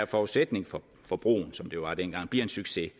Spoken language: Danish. forudsætning for at broen som det var dengang blev en succes